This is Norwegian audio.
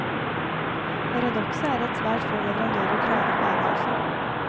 Paradokset er at svært få leverandører klager på avgjørelsen.